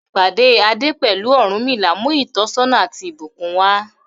Ìpàdé Ade pẹ̀lú Ọ̀rúnmìlà mú ìtọ́sọ́nà àti ìbùkún wá.